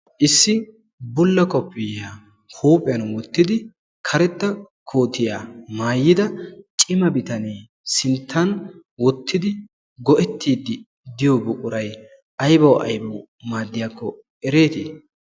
issi buulla kofiyaa huuphiyaan wottidi karetta kootiyaa maayida cima bitanee sinttan woottidi go"eettidi de'iyoo buqquray aybawu aybawu maadiyaakko eretii?